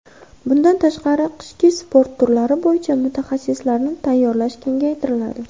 Bundan tashqari, qishki sport turlari bo‘yicha mutaxassislarni tayyorlash kengaytiriladi.